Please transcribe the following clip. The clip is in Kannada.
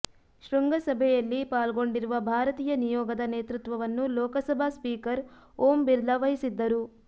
ಶೃಂಗಸಭೆಯಲ್ಲಿ ಪಾಲ್ಗೊಂಡಿರುವ ಭಾರತೀಯ ನಿಯೋಗದ ನೇತೃತ್ವವನ್ನು ಲೋಕಸಭಾ ಸ್ಪೀಕರ್ ಓಂ ಬಿರ್ಲಾ ವಹಿಸಿದ್ದರು